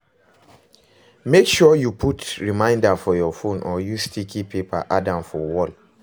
Make sure you put reminder for you phone or use sticky paper add am for wall